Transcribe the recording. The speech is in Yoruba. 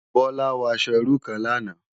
Bola wò aṣò irú kán làná